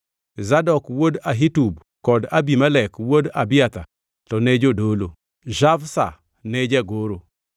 Zadok wuod Ahitub kod Abimelek wuod Abiathar to ne jodolo, Shavsha ne jagoro;